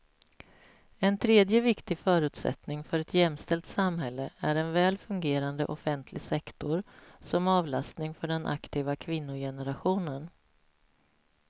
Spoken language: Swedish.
En tredje viktig förutsättning för ett jämställt samhälle är en väl fungerande offentlig sektor som avlastning för den aktiva kvinnogenerationen.